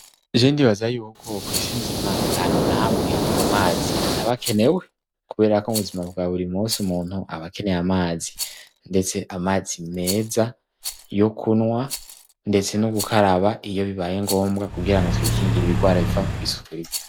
Jewe ndibaza yuko kw'isi nzima ata hantu na hamwe amazi ataba akenewe. Kubera ko mu buzima bwa buri munsi umuntu aba akeneye amazi; ndetse amazi meza, yo kunywa, ndetse no gukaraba iyo bibaye ngombwa kugira ngo twikingire ibigwara biva kw'isuku rike.